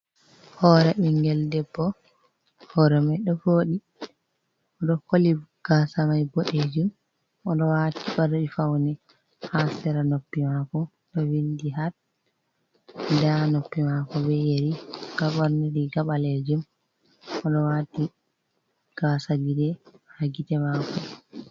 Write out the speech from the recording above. Hore ɓingel debbo, hore mai ɗo foɗi ɗo koli gasa mai boɗejum, oɗo wati fari faune ha sera noppi mako ɗo vindi hat nda noppi mako be yeri goɓorni riga balejum, oɗo wati gasa gite ha gite mako.